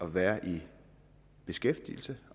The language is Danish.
at være i beskæftigelse